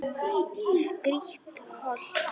Grýtt holt.